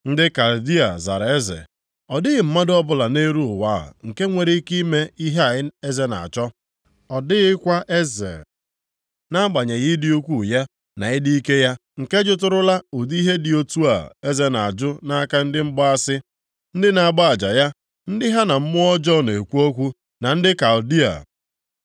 Ndị Kaldịa zara eze, “Ọ dịghị mmadụ ọbụla nʼelu ụwa a nke nwere ike ime ihe a eze na-achọ. Ọ dịghịkwa eze, nʼagbanyeghị ịdị ukwuu ya na ịdị ike ya, nke jụtụrụla ụdị ihe dị otu a eze na-ajụ nʼaka ndị mgbaasị, ndị na-agba aja ya, ndị ha na mmụọ ọjọọ na-ekwu okwu, na ndị Kaldịa.